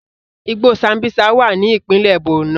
Igbó Sambísa wà ní ìpínlẹ̀ Borno